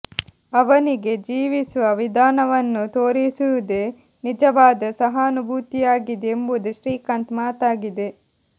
ಅವನಿಗೆ ಜೀವಿಸುವ ವಿಧಾನವನ್ನು ತೋರಿಸುವುದೇ ನಿಜವಾದ ಸಹಾನುಭೂತಿಯಾಗಿದೆ ಎಂಬುದು ಶ್ರೀಕಾಂತ್ ಮಾತಾಗಿದೆ